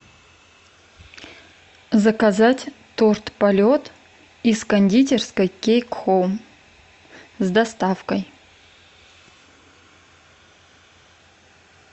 заказать торт полет из кондитерской кейк хоум с доставкой